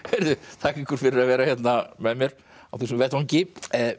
þakka ykkur fyrir að vera hérna með mér á þessum vettvangi